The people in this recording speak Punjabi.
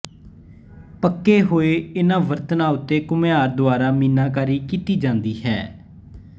ਪੱਕੇ ਹੋਏ ਇਨ੍ਹਾਂ ਬਰਤਨਾਂ ਉੱਤੇ ਘੁਮਿਆਰ ਦੁਆਰਾ ਮੀਨਾਕਰੀ ਕੀਤੀ ਜਾਂਦੀ ਹੈ